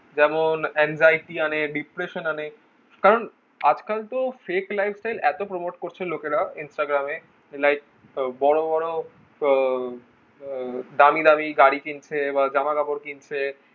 যেমন anxiety আনে depression আনে কারণ আজ কাল তো fake lifestyle এতো promote করছে লোকেরা instagram এ like বড়ো বড়ো আহ আহ দামি দামি গাড়ি কিনছে বা জামা কাপড় কিনছে